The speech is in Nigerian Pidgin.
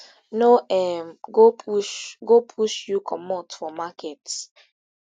no um go push go push you comot for market